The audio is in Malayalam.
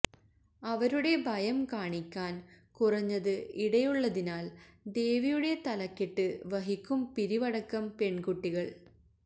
അവരുടെ ഭയം കാണിക്കാൻ കുറഞ്ഞത് ഇടയുള്ളതിനാൽ ദേവിയുടെ തലക്കെട്ട് വഹിക്കും പിരിവടക്കം പെൺകുട്ടികൾ